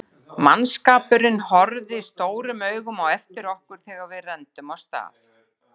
Mannskapurinn horfði stórum augum á eftir okkur þegar við renndum af stað.